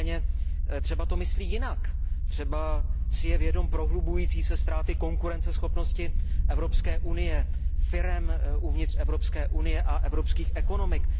Nicméně třeba to myslí jinak, třeba si je vědom prohlubující se ztráty konkurenceschopnosti Evropské unie, firem v Evropské unii a evropských ekonomik.